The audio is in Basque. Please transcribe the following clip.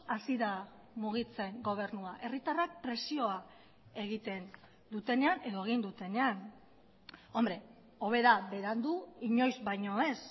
hasi da mugitzen gobernua herritarrak presioa egiten dutenean edo egin dutenean hombre hobe da berandu inoiz baino ez